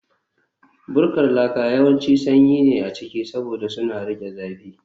Bukkar laka yawanci sanyi ne a ciki, saboda suna riƙe zafi